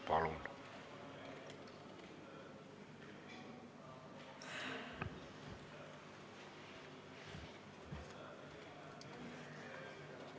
Palun!